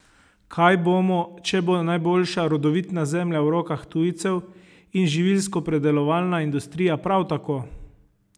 Kaj bomo, če bo najboljša rodovitna zemlja v rokah tujcev in živilskopredelovalna industrija prav tako?